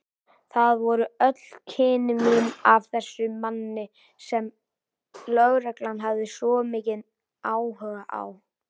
Það voru öll kynni mín af þessum manni sem lögreglan hafði svo mikinn áhuga á.